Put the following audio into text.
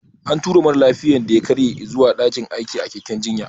An tura mara lafiyan da ya karye izuwa daƙin aikin a keken jinya